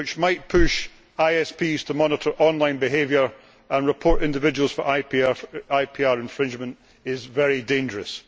which might push ISPs to monitor online behaviour and report individuals for IPR infringement is very dangerous.